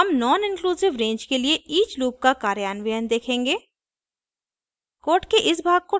आगे हम noninclusive range के लिए each लूप का कार्यान्वयन देखेंगे